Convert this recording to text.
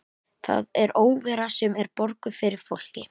Það er óvera sem er borguð fyrir fólk.